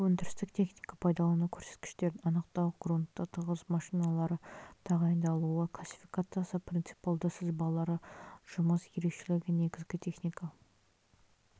өндірстілік техника пайдалану көрсеткіштерін анықтау грунтты тығыз машиналары тағайындалуы классификациясы принципиалды сызбалары жұмыс ерекшелігі негізгі техника